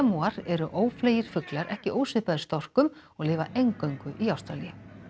eru ófleygir fuglar ekki ósvipaðir storkum og lifa eingöngu í Ástralíu